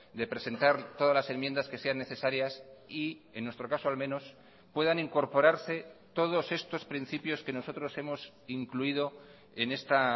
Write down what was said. de presentar todas las enmiendas que sean necesarias y en nuestro caso al menos puedan incorporarse todos estos principios que nosotros hemos incluido en esta